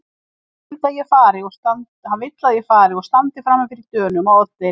Hann vill að ég fari og standi frami fyrir Dönunum á Oddeyri.